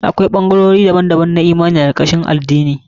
Akwai ɓangarori daban-daban na imani a karkashin addini.